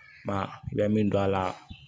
Ma i bɛ min don a la